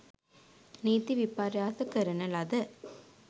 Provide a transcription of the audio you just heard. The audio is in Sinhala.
නීති විපර්යාස කරන ලද